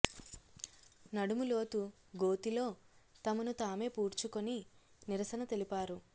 నడుము లోతు గోతిలో తమను తామే పూడ్చుకొని నిరసన తెలిపారు